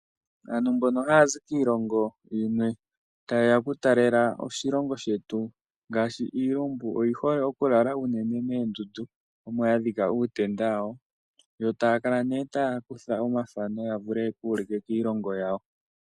Aantu mbono haya zi kiilongo yimwe taye ya okutalelapo oshilongo shetu ngashi iilumbu oyi hole okulala unene moondundu omoya dhika uutenda wawo yo taya kala ne taya kutha omathano yo oya vule yeku ulike kiilongo yawo.